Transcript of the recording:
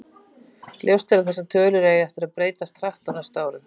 Ljóst er að þessar tölur eiga eftir að breytast hratt á næstu árum.